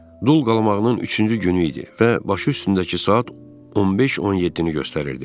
Dul qalmağının üçüncü günü idi və başı üstündəki saat 15:17-ni göstərirdi.